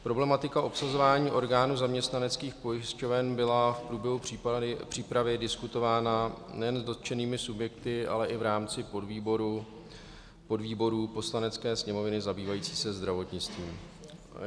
Problematika obsazování orgánů zaměstnaneckých pojišťoven byla v průběhu přípravy diskutována nejen s dotčenými subjekty, ale i v rámci podvýboru Poslanecké sněmovny zabývajícího se zdravotnictvím.